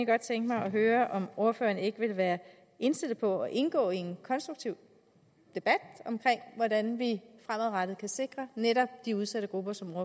godt tænke mig at høre om ordføreren ikke vil være indstillet på at indgå i en konstruktiv debat om hvordan vi fremadrettet kan sikre netop de udsatte grupper som